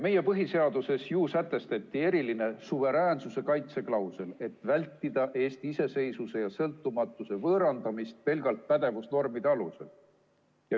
Meie põhiseaduses ju sätestati eriline suveräänsuse kaitse klausel, et vältida Eesti iseseisvuse ja sõltumatuse võõrandamist pelgalt pädevusnormide alusel.